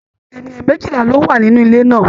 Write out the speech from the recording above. Ènìyàn méjìlá lọ wá nínú ilè náà.